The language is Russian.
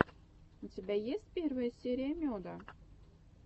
у тебя есть первая серия меда